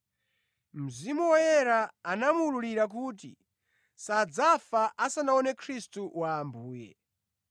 Mzimu Woyera anamuwululira kuti sadzafa asanaone Khristu wa Ambuye.